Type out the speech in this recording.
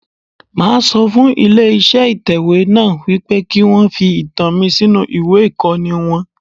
Máa sọ fún ilé iṣẹ́ ìtẹ̀wé náà wípé kí wọn fi ìtàn mi sínú ìwé ìkọ́ni wọn.